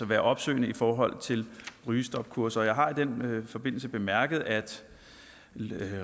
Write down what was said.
være opsøgende i forhold til rygestopkurser jeg har i den forbindelse bemærket at